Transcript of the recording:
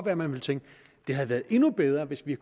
at man vil tænke det havde været endnu bedre hvis vi